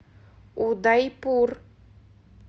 удайпур